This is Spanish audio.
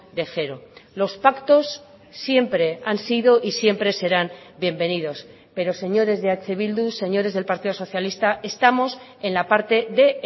de cero los pactos siempre han sido y siempre serán bienvenidos pero señores de eh bildu señores del partido socialista estamos en la parte de